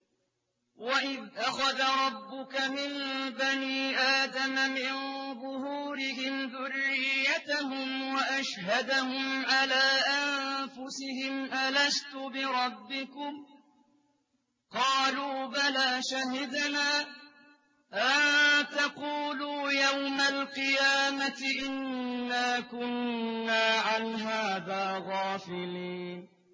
وَإِذْ أَخَذَ رَبُّكَ مِن بَنِي آدَمَ مِن ظُهُورِهِمْ ذُرِّيَّتَهُمْ وَأَشْهَدَهُمْ عَلَىٰ أَنفُسِهِمْ أَلَسْتُ بِرَبِّكُمْ ۖ قَالُوا بَلَىٰ ۛ شَهِدْنَا ۛ أَن تَقُولُوا يَوْمَ الْقِيَامَةِ إِنَّا كُنَّا عَنْ هَٰذَا غَافِلِينَ